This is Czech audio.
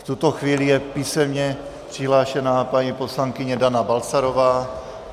V tuto chvíli je písemně přihlášená paní poslankyně Dana Balcarová.